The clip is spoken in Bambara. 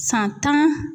San tan